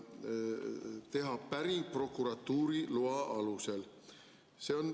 järgi teha päring prokuratuuri loa alusel.